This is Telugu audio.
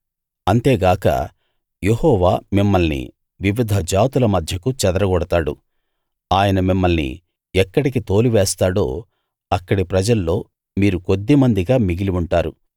అంతేగాక యెహోవా మిమ్మల్ని వివిధ జాతుల మధ్యకు చెదరగొడతాడు ఆయన మిమ్మల్ని ఎక్కడికి తోలివేస్తాడో అక్కడి ప్రజల్లో మీరు కొద్దిమందిగా మిగిలి ఉంటారు